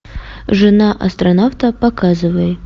жена астронавта показывай